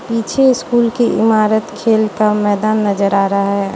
पीछे स्कूल की इमारत खेल का मैदान नजर आ रहा है।